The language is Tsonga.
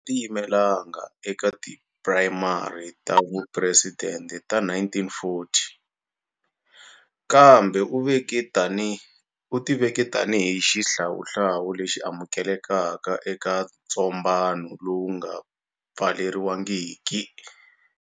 Tiyimelanga eka ti primary ta vupresidente ta 1940, kambe u ti veke tanihi xihlawuhlawu lexi amukelekaka eka ntsombano lowu nga pfaleriwangiki.